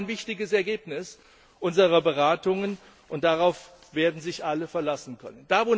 Das ist auch ein wichtiges Ergebnis unserer Beratungen, und darauf werden sich alle verlassen können.